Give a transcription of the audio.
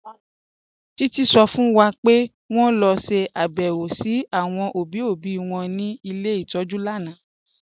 Títí sọ fún wà pé wọn lọ ṣàbẹ̀wọ̀ sí àwọn obì obì wọn ní ilẹ̀ itọ́jú lànà